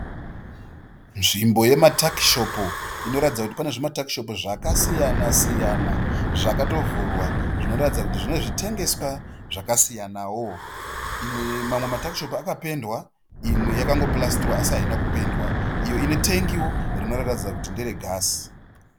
Nzvimbo yematakishopu inoratidza kuti pane zvimatakishopu zvakasiyana siyana zvakatovhurwa zvinoratidza kuti zvine zvitengeswa zvakasiyanawo. Mamwe matakishopu akapendiwa imwe yakapurasitiwa asi haina kupendiwa iyo inetangiwo rinoratidza kuti ndere gasi.